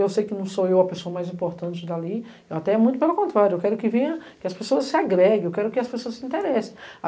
Eu sei que não sou eu a pessoa mais importante dali, eu até muito pelo contrário, eu quero que as pessoas se agreguem, eu quero que as pessoas se interessem.